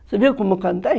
Você viu como eu cantei?